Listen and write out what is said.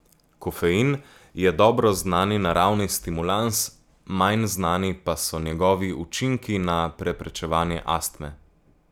Kofein je dobro znani naravni stimulans, manj znani pa so njegovi učinki na preprečevanje astme.